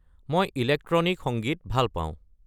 মই ইলেক্ট্ৰনিক সংগীত ভাল পাওঁ